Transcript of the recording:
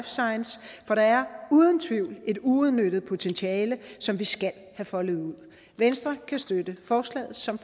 science for der er uden tvivl et uudnyttet potentiale som vi skal have foldet ud venstre kan støtte forslaget som